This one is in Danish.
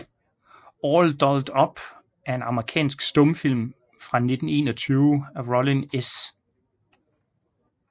All Dolled Up er en amerikansk stumfilm fra 1921 af Rollin S